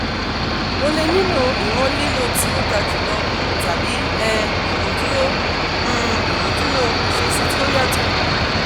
o le nilo iwọn lilo ti o ga julọ tabi um imuduro um imuduro iṣesi ti o yatọ